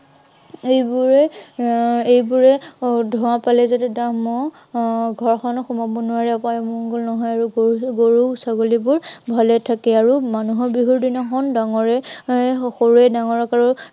সেইবোৰে এৰ এইবোৰে আহ ধোঁৱা পালে যাতে দাঁহ মহ আহ ঘৰখনত সোমাৱ নোৱাৰে আৰু অপায় অমংগল নহয় আৰু গৰু, গৰু ছাগলীবোৰ ভালে থাকে। আৰু মান ুহৰ বিহুৰ দিনাখন ডাঙৰে, সৰুৱে ডাঙৰক আৰু